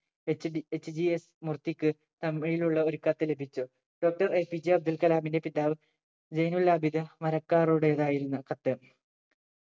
HDHGS മൂർത്തിക്ക് thumb nail ഉള്ള ഒരു കത്ത് ലഭിച്ചു Doctor APJ അബ്ദുൾകലാമിന്റെ പിതാവ് ജൈനുലാബിദ് മരക്കാരുടേതായിരുന്നു കത്ത്